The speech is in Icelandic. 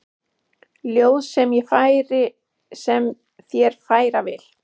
Ljóð sem ég þér færa vil.